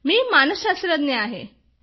मी एक मानसशास्त्रज्ञ आहे